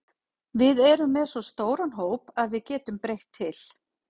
Við erum með svo stóran hóp að við getum breytt til.